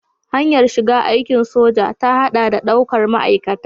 Hanyar shiga aikin soja ta haɗa da daukar ma'aikata.